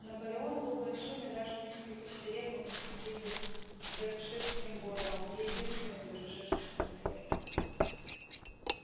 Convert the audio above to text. наполеон был большим и даже несколько свирепым с виду беркширским боровом единственным беркширцем на ферме